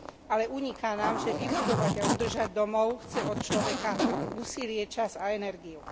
Ale uniká nám, že vybudovať a udržať domov chce od človeka úsilie, čas a energiu.